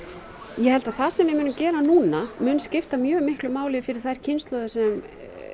ég held að það sem við munum gera núna muni skipta mjög miklu máli fyrir þær kynslóðir sem